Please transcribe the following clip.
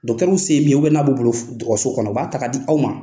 Dɔkitɛriw se ye min ye n'a b'u bolo dɔgɔtɔrɔso kɔnɔ u b'a ta ka di u ma.